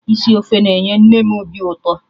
Isi ofe na-enye nne m obi ụtọ